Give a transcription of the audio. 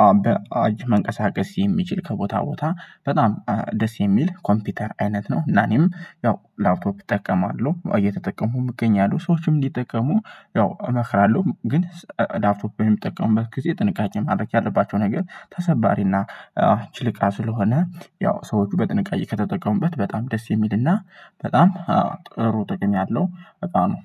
አዎ በአጅ መንቀሳቀስ የሚችል ከቦታ ቦታ በጣም ደስ የሚል ኮምፒውተር አይነት ነው። እና እኔም ያው ላፕቶፕ እጠቀማለሁ እየተጠቀምኩም እገኛለሁ ሰዎችም እንዲጠቀሙ ያው እመክራለሁ። ግን ላፕቶፕ እሚጠቀሙበት ጊዜ ጥንቃቄ ማድረግ ያለባቸው ነገር ተሰባሪና ችልቃ ስለሆነ። ያው ሰዎች በጥንቃቄ ከተጠቀሙበት በጣም ደስ የሚልና በጣም ጥሩ ጥቅም ያለው እቃ ነው